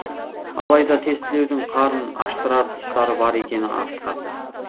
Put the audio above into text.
алайда тестілеудің қарын аштырар тұстары бар екені ақиқат